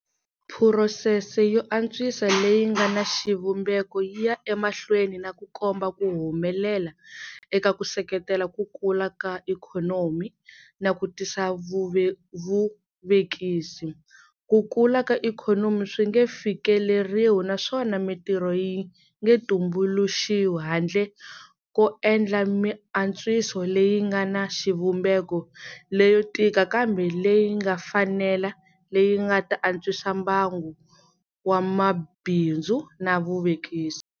Phurosese yo antswisa leyi nga na xivumbeko yi ya emahlweni na ku komba ku humelela eka ku seketela ku kula ka ikhonomi na ku tisa vuvekisi. Ku kula ka ikhonomi swi nge fikeleriwi naswona mitirho yi nge tumbuluxiwi handle ko endla miantswiso leyi nga na xivumbeko leyo tika kambe leyi nga fanela leyi yi nga ta antswisa mbangu wa mabindzu na vuvekisi.